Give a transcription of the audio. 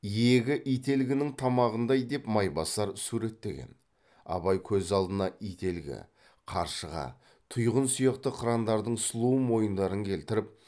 иегі ителгінің тамағындай деп майбасар суреттеген абай көз алдына ителгі қаршыға тұйғын сияқты қырандардың сұлу мойындарын келтіріп